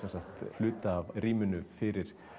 hluta af rýminu fyrir